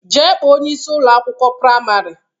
Jee kpọọ onyeisi Ụlọ akwụkwọ praịmarị!